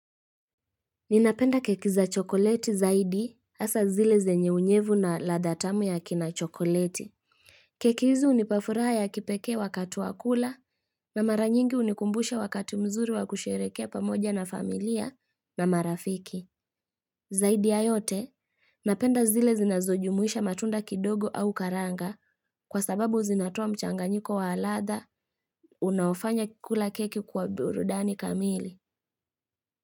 Ninapenda keki za chokoleti zaidi hasaa zile zenye unyevu na ladha tamu ya kina chokoleti. Keki hizi hunipa furaha ya kipekee wakati wa kula na mara nyingi hunikumbusha wakati mzuri wakusherehekea pamoja na familia na marafiki. Zaidi ya yote, napenda zile zinazojumuisha matunda kidogo au karanga kwa sababu zinatoa mchanganyiko wa ladha unaofanya kula keki kwa burudani kamili.